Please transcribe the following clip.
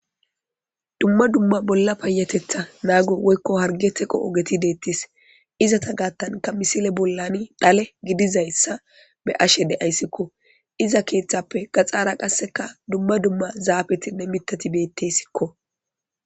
Dumma dumma bolla payatetha nago woyko charge teqo ogetti de'etes izzeta gathanka misile bolla dhale be'ashe de'askko gidizaysa beyashe.izza kethappe gaxara qaseka dumma dumma zappetinne miththati Bettesko.